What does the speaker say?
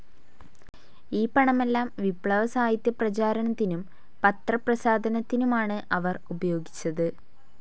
ഈ പണമെല്ലാം വിപ്ലവ സാഹിത്യ പ്രചാരണത്തിനും പത്രപ്രസാധനത്തിനുമാണ് അവർ ഉപയോഗിച്ചത്.